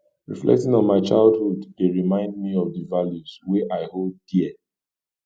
reflecting on my childhood dey remind me of the values wey i hold dear